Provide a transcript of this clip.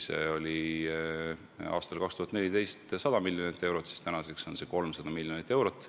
Aastal 2014 eraldati selleks 100 miljonit eurot, nüüdseks on see summa 300 miljonit eurot.